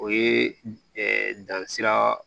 O ye dansira